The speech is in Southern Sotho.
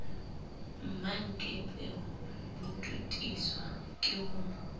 mmankepe bo totiswa ke ho